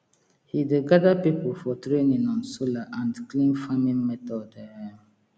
he dey gather people for training on solar and clean farming method um